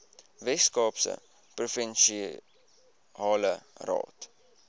weskaapse provinsiale raad